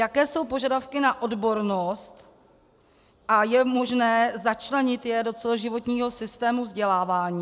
Jaké jsou požadavky na odbornost a je možné začlenit je do celoživotního systému vzdělávání?